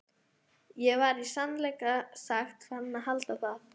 Ég var í sannleika sagt farinn að halda það.